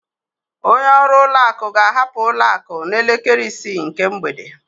Onye ọrụ ụlọ akụ ga-ahapụ ụlọ akụ n'elekere isii nke mgbede.